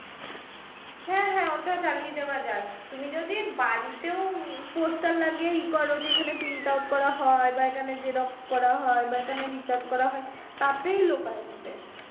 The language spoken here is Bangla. হ্যাঁ হ্যাঁ ওটা চালিয়ে দেওয়া যায় তুমি যদি বাড়িতেও poster লাগিয়ে ই কর যে এখানে print out করা হয় বা এখানে xerox করা হয় বা এখানে recharge করা হয় তাতেই লোক আসবে